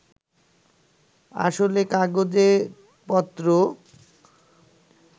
আসলে কাগজেপত্র